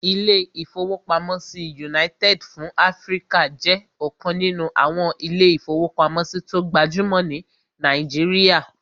Ilé-ìfowópamọ́sí United fún Áfríkà jẹ́ ọ̀kan nínú àwọn ilé-ìfowópamọ́sí tó gbajúmọ̀ ní Nàìjíríyà